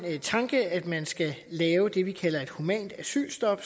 tanke at man skal lave det vi kalder et humant asylstop